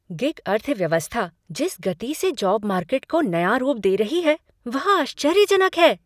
Gig अर्थव्यवस्था जिस गति से जॉब मार्केट को नया रूप दे रही है, वह आश्चर्यजनक है।